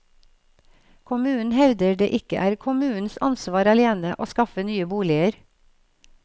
Kommunen hevder det ikke er kommunens ansvar alene å skaffe nye boliger.